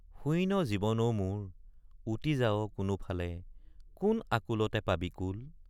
শূইন জীৱন অ মোৰ উটি যাৱ কোনো ফালে কোন আকুলতে পাবি কুল?